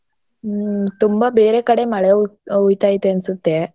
ಹ್ಮ್. ತುಂಬಾ ಬೇರೆ ಕಡೆ ಮಳೆ ಉಯ್~ ಉಯ್ತೈತೆ ಅನ್ಸುತ್ತೆ.